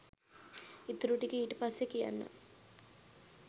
ඉතුරු ටික ඊට පස්සෙ කියන්නං